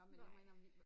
Nej